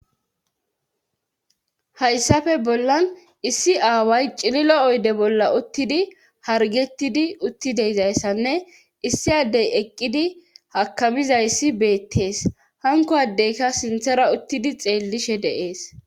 Hayssafe bollan issi aaway cililo oyde bolla uttidi hargettidi uttideizayssanne issi addey eqqidi hakamizayssi beettees hanko addeyka sinthara uttidi xeellishe deees